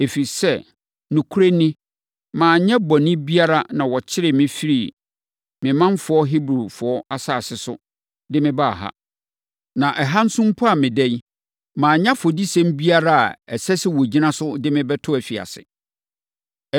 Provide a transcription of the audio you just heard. Ɛfiri sɛ, nokorɛ ni, manyɛ bɔne biara na wɔkyeree me firii me manfoɔ Hebrifoɔ asase so de mebaa ha. Na ɛha nso mpo a meda yi, manyɛ afɔdisɛm biara a ɛsɛ sɛ wɔgyina so de me to afiase.”